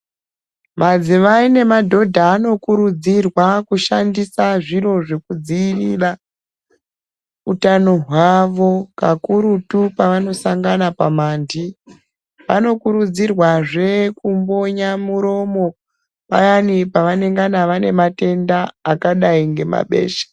Madzimai nemadhodha anokurudzirwa kushandisa zviro zvekudzirira utano hwavo kakurutu pavanosangana pamandi. Vanokurudzirwazve kumbonya muromo payani pevanengana vane matenda akadi ngemabesha.